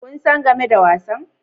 Kun san game da wasan